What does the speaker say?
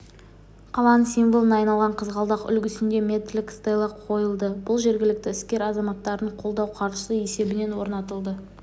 қаланың символына айналған қызғалдақ үлгісінде метрлік стелла қойылды бұл жергілікті іскер азаматтардың қолдау қаржысы есебінен орнатылды